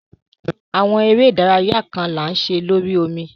Awọn ere idaraya kan ni a ṣe lori omi